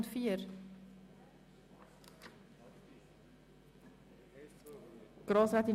(Massnahme Kürzung weitere Beiträge Rahmenkredit 44.2.7):